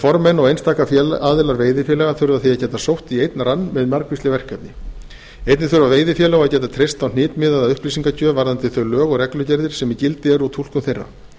formenn og einstaka aðilar veiðifélaga þurfa því að geta sótt í einn rann með margvísleg erindi einnig þurfa veiðifélög að geta treyst á hnitmiðaða upplýsingagjöf varðandi þau lög og reglugerðir sem í gildi eru og túlkun þeirra